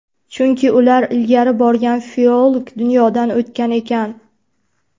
Chunki ular ilgari borgan filolog dunyodan o‘tgan ekan.